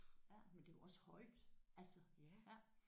Men det er jo også højt altså